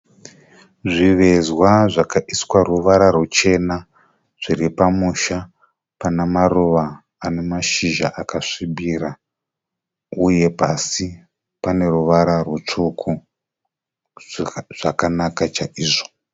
Zvivezwa zvakaiswa ruvara ruchena. Zviri pamusha pana maruva ane mashizha akasvibira uye pasi pane ruvara rutsvuku. Zvakanaka chaizvo.